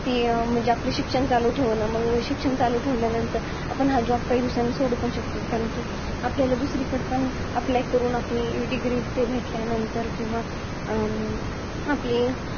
ती अं म्हणजे, आपलं शिक्षण चालू ठेवणं. मंग शिक्षण चालू ठेवल्यानंतर आपण हा job काही दिवसानंतर सोडू पण शकतो. आपल्याला दुसरीकडे पण, apply आपल्याला degree ते भेटल्यानंतर किंवा, अं आपली